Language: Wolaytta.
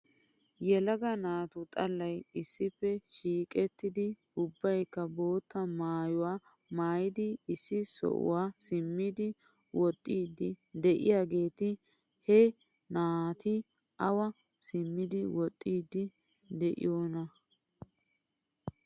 Yelaga naatu xalaalay issippe shiiqettidi ubbaykka bootta maayuwaa maayidi issi sohuwaa simmidi woxiiddi de'iyaageeti he naati awa simmidi woxxiidi de'iyoonaa.